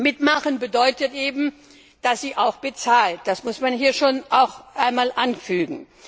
Mitmachen bedeutet eben, dass sie auch bezahlt, das muss man hier auch einmal anfügen.